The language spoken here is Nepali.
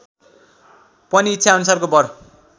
पनि इच्छाअनुसारको वर